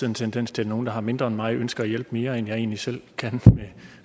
en tendens til at nogle der har mindre end mig ønsker at hjælpe mere end jeg egentlig selv kan med